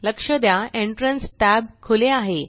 लक्ष द्या entrance tab खुले आहे